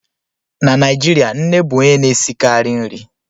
Na Naijirịa, nne bụ onye na-esikarị nri